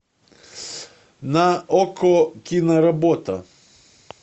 на окко киноработа